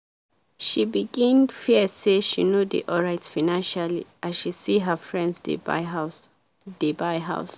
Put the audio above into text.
she begin fear say she no dey alright financially as she see her friends dey buy house dey buy house.